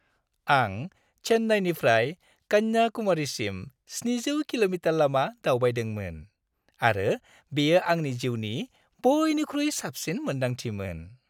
आं चेन्नाईनिफ्राय कन्याकुमारीसिम 700 किल'मिटार लामा दावबायदोंमोन आरो बेयो आंनि जिउनि बयनिख्रुइ साबसिन मोन्दांथिमोन।